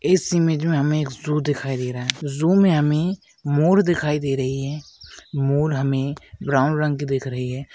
इस इमेज में हमें एक ज़ू दिखाई दे रहा है ज़ू में हमें मोर दिखाई दे रही है मोर हमें ब्राउन रंग की दिख रही है।